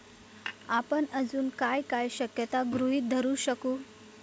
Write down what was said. आपण अजून काय काय शक्यता गृहीत धरू शकू?